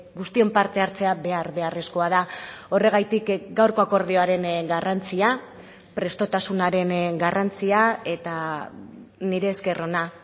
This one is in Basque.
guztien partehartzea behar beharrezkoa da horregatik gaurko akordioaren garrantzia prestutasunaren garrantzia eta nire esker ona